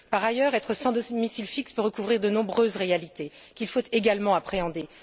Par ailleurs, être sans domicile fixe peut recouvrir de nombreuses réalités qu'il faut également appréhender.